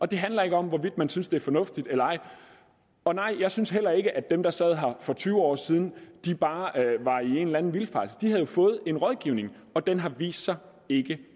det handler ikke om hvorvidt man synes det er fornuftigt eller ej og nej jeg synes heller ikke at dem der sad her for tyve år siden bare var i en eller anden vildfarelse de har jo fået rådgivning og den har vist sig ikke